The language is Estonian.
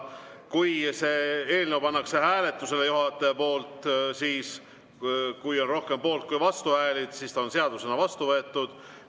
Kui juhataja paneb eelnõu hääletusele ja kui on rohkem poolt- kui vastuhääli, siis on see seadusena vastu võetud.